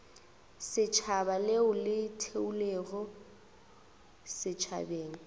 setšhaba leo le theilwego setšhabeng